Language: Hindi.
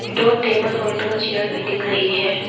दो टेबल और दो चेयर भी दिख रही है।